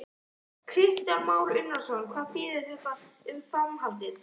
Kristján Már Unnarsson: Hvað þýðir þá þetta um framhaldið?